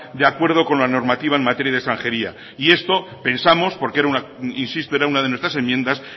de acuerdo con la normativa en materia de extranjería y esto pensamos porque insisto era una de nuestras enmiendas